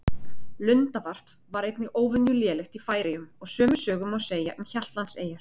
Lundavarp var einnig óvenju lélegt í Færeyjum og sömu sögu má segja um Hjaltlandseyjar.